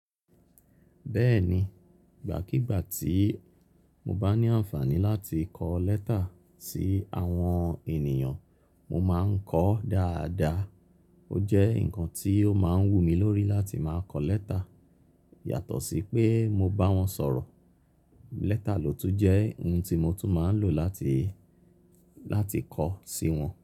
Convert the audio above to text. Bẹ́ẹ̀ni, ìgbàkígbà tí mo bá ní àǹfààní láti kọ lẹ́tà sí àwọn ènìyàn, mo máa ń kọ dáadáa. Ó jẹ́ ǹkan tí ó máa ń wù mí lórí láti máa kọ lẹ́tà yàtọ̀ sí pé mo bá wọn sọ̀rọ̀. Lẹ́tà ló tún jẹ́ ohun tí mo tún máa ń lò láti, láti kọ sí wọn.